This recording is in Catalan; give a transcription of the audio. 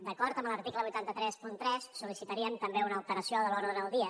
d’acord amb l’article vuit cents i trenta tres sol·licitaríem també una alteració de l’ordre del dia